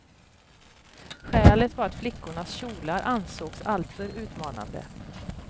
Skälet var att flickornas kjolar ansågs alltför utmanande.